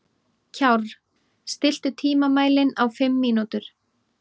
Kjárr, stilltu tímamælinn á fimm mínútur.